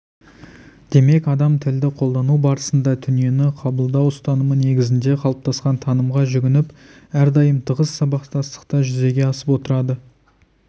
демек адам тілді қолдану барысында дүниені қабылдау ұстанымы негізінде қалыптасқан танымға жүгініп әрдайым тығыз сабақтастықта жүзеге асып отырады